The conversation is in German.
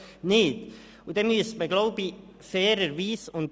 Deswegen müsste man, glaube ich, fairerweise ...